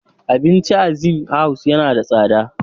Abincin a Zinc House yana da tsada.